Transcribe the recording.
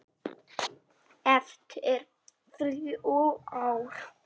Eftir þrjú ár.